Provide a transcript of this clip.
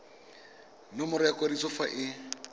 nomoro ya kwadiso fa e